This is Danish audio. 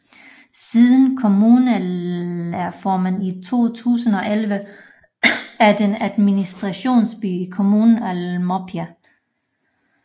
Siden kommunalreformen i 2011 er den administrationsby i kommunen Almopia